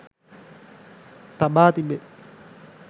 තබා තිබේ